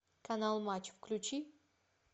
канал матч включи